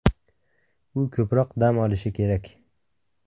U ko‘proq dam olishi kerak.